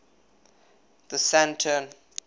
the saturn